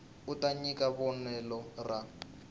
u ta nyika vonelo ra